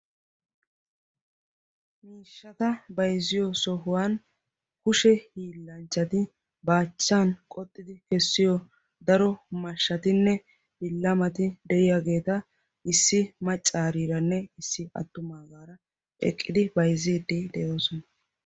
miishshata bayzziyo sohuwan kushe hiillanchchati baachchan qoxxidi kessiyo daro mashshatinne billamati de'iyaageeta issi maccaariiranne issi attumaagaara eqqidi bayzziidi de'oosona